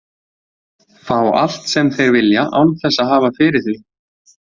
Fá allt sem þeir vilja án þess að hafa fyrir því.